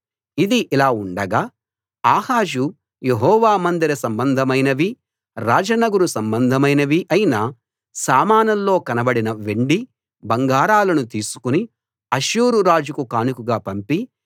ఇది ఇలా ఉండగా ఆహాజు యెహోవా మందిర సంబంధమైనవీ రాజనగరు సంబంధమైనవీ అయిన సామానుల్లో కనబడిన వెండి బంగారాలను తీసుకుని అష్షూరు రాజుకు కానుకగా పంపి